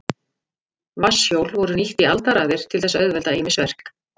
Vatnshjól voru nýtt í aldaraðir til þess að auðvelda ýmis verk.